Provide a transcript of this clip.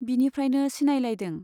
बिनिफ्रायनो सिनायलायदों।